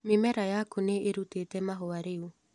Mĩmera yaku nĩĩrutĩte mahũa rĩu.